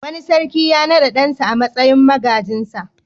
Wani sarki ya naɗa ɗansa a matsayin magajinsa.